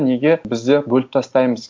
неге бізде бөліп тастаймыз